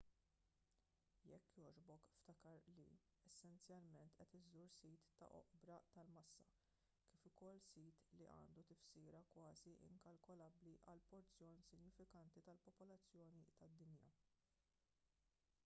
jekk jogħġbok ftakar li essenzjalment qed iżżur sit ta' oqbra tal-massa kif ukoll sit li għandu tifsira kważi inkalkolabbli għal porzjon sinifikanti tal-popolazzjoni tad-dinja